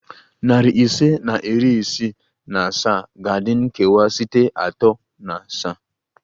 Nari ise na iri isii na asaa ga-adị nkewa site atọ na asaa